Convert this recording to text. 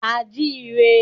A jí i rẹ.